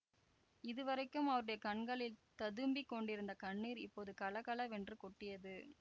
இதுவரைக்கும் அவருடைய கண்களில் ததும்பிக் கொண்டிருந்த கண்ணீர் இப்போது கலகலவென்று கொட்டியது